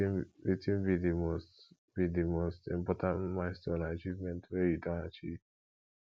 wetin be di most be di most important milestone or achievement wey you don achieve